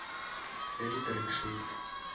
le di track suit